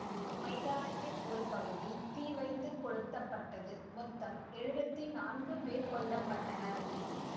மைதானத்தின் ஒரு பகுதி தீ வைத்து கொளுத்தப்பட்டது மொத்தம் எழுவத்தி நான்கு பேர் கொல்ல பட்டனர்